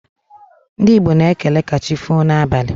Ndị Igbo na-ekele 'kachifo' n'abalị